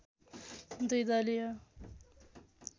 दुई दलीय